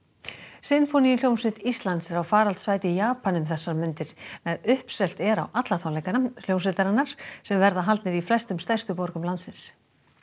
sinfóníuhljómsveit Íslands er á faraldsfæti í Japan um þessar mundir nær uppselt er á alla tónleika hljómsveitarinnar sem verða haldnir í flestum stærstu borgum landsins